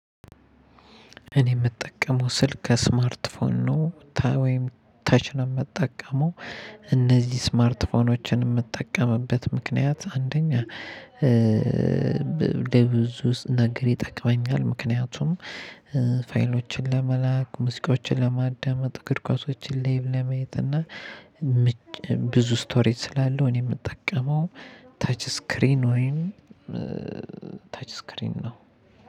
እኔ የምጠቀመው ስልክ ስማርት ፎን ነው ወይም ተች ነው የምጠቀመው። እነዚህ ስማርትፎኖችን የምትጠቀምበት ምክንያት አንደኛ ለብዙ ውስጥ ነገር ይጠቅመኛል። ምክንያቱም ፋይሎችን ለመላክ ሙዚቃዎችን ለማዳመጥ እግር ኳሶችን ላይቭ ለመየት። እና ብዙ ስቶሬጅ ስላለው እኔ የምጠቀመው ተች ስክሪን ወይም ተች ስክሪን ነው።